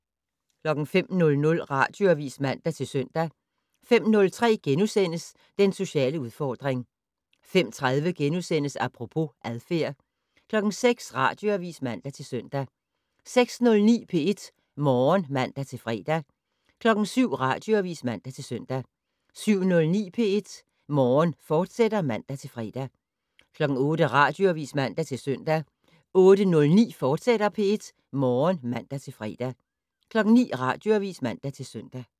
05:00: Radioavis (man-søn) 05:03: Den sociale udfordring * 05:30: Apropos - adfærd * 06:00: Radioavis (man-søn) 06:09: P1 Morgen (man-fre) 07:00: Radioavis (man-søn) 07:09: P1 Morgen, fortsat (man-fre) 08:00: Radioavis (man-søn) 08:09: P1 Morgen, fortsat (man-fre) 09:00: Radioavis (man-søn)